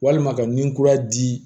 Walima ka nunkura di